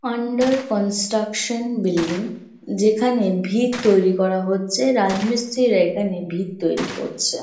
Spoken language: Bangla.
আন্ডার কন্সট্রাকশন বিল্ডিং যেখানে ভিত তৈরী করা হচ্ছে। রাজমিস্ত্রিরা এখানে ভিত তৈরী করছে।